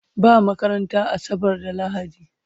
Ba makaranta asabar da lahadi